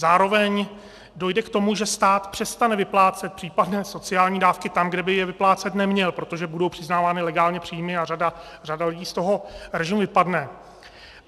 Zároveň dojde k tomu, že stát přestane vyplácet případné sociální dávky tam, kde by je vyplácet neměl, protože budou přiznávány legálně příjmy a řada lidí z toho režimu vypadne.